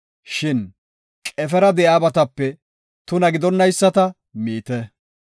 Shin qefera de7iyabatape tuna gidonayisata miite.